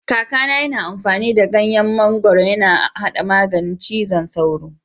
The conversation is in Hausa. Kaka na yana amfani da ganyen mangoro yana haɗa maganin cizon sauro.